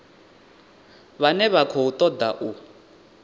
vhane vha khou ṱoḓa u